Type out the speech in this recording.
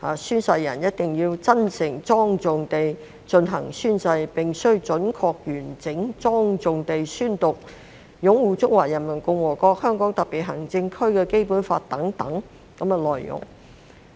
宣誓人一定要真誠莊重地進行宣誓，必須準確、完整、莊重地宣讀擁護《中華人民共和國香港特別行政區基本法》等內容。